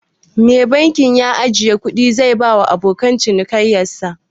Me bankin ajjiye kudi zai bawa abokan cinikin sa?